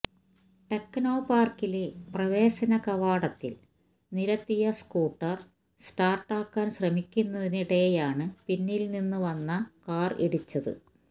ടെക്നോപാര്ക്കിലെ പ്രവേശനകവാടത്തില് നിര്ത്തിയ സ്കൂട്ടര് സ്റ്റാര്ട്ടാക്കാന് ശ്രമിക്കുന്നതിനിടെയാണ് പിന്നില് നിന്ന് വന്ന കാര് ഇടിച്ചത്